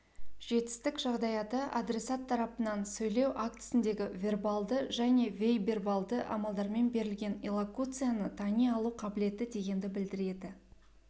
жетістік жағдаяты адресат тарапынан сөйлеу актісіндегі вербалды және бейвербалды амалдармен берілген иллокуцияны тани алу қабілеті дегенді білдіреді